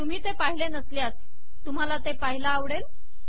तुम्ही ते पाहिले नसल्यास तुम्हाला ते पहायला आवडेल